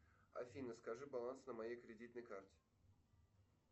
афина скажи баланс на моей кредитной карте